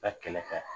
Ka kɛlɛ kɛ